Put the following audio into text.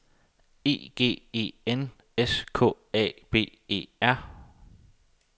E G E N S K A B E R